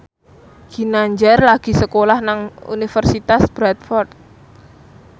Ginanjar lagi sekolah nang Universitas Bradford